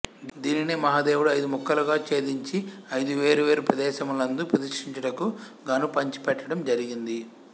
దీనినే మహదేవుడు ఐదు ముక్కలుగా ఛేదించి ఐదు వేరు వేరు ప్రదేసములందు ప్రతిష్ఠించుటకు గాను పంచిపెట్టడం జరిగింది